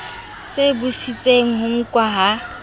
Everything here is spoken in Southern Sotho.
se busetseng ho nkwa ha